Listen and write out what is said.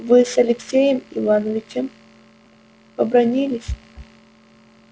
вы с алексеем иванычем побранились